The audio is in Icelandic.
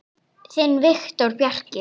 Þinn Viktor Bjarki.